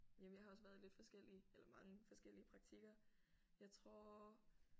Jamen jeg har også været i lidt forskellige eller mange forskellige praktikker jeg tror